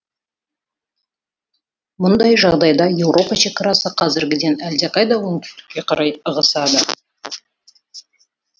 мұндай жағдайда еуропа шекарасы қазіргіден әлдеқайда оңтүстікке қарай ығысады